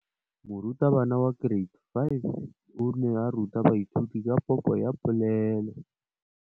Moratabana wa kereiti ya 5 o ne a ruta baithuti ka popô ya polelô.